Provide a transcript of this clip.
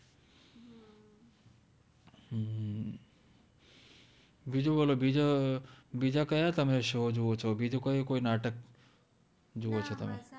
બિજુ બોલો બિજા તમે કૈયા શો જોવો છો બિજુ કોઇ કૈ નાતક્ જોવો છો તમે